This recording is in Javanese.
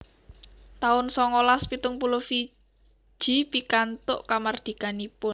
taun songolas pitung puluh Fiji pikantuk kamardikanipun